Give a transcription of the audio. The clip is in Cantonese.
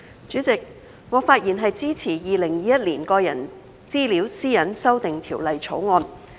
主席，我發言支持《2021年個人資料條例草案》。